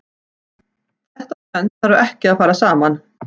Þetta tvennt þarf ekki að fara saman.